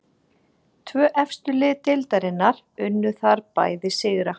Tvö efstu lið deildarinnar unnu þar bæði sigra.